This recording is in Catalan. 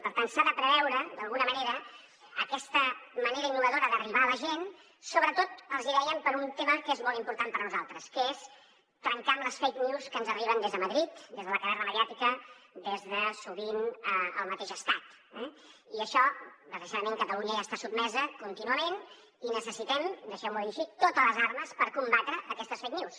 per tant s’ha de preveure d’alguna manera aquesta manera innovadora d’arribar a la gent sobretot els dèiem per un tema que és molt important per a nosaltres que és trencar amb les fake news que ens arriben des de madrid des de la caverna mediàtica des de sovint el mateix estat eh i a això desgraciadament catalunya hi està sotmesa contínuament i necessitem deixeu m’ho dir així totes les armes per combatre aquestes fake news